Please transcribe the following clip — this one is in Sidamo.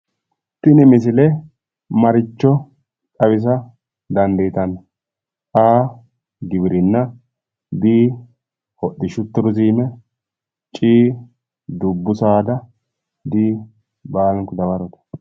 Tini misile marricho xawisa dandiitanno?A/giwirinna B/hodhishshu turiziime C/dubbu saada D/baalunku dawarote